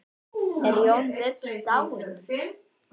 Er Jón biskup dáinn?